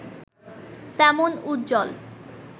তেমন উজ্জ্বল